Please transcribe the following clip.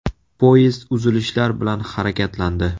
Poyezd uzilishlar bilan harakatlandi.